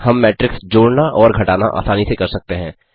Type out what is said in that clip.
हम मेट्रिक्स जोड़ना और घटाना आसानी से कर सकते हैं